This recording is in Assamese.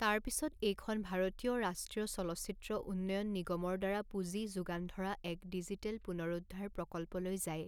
তাৰ পিছত, এইখন ভাৰতীয় ৰাষ্ট্ৰীয় চলচ্চিত্ৰ উন্নয়ন নিগমৰ দ্বাৰা পুঁজি যোগান ধৰা এক ডিজিটেল পুনৰুদ্ধাৰ প্ৰকল্পলৈ যায়।